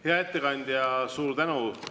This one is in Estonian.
Hea ettekandja, suur tänu!